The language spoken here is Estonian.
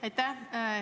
Aitäh!